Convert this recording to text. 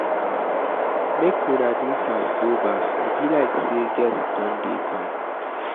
Make una do fast go baff, e be like say guest don dey come.